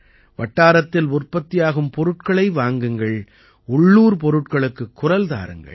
வட்டாரத்தில் உற்பத்தியாகும் பொருட்களை வாங்குங்கள் உள்ளூர் பொருட்களுக்குக் குரல் தாருங்கள்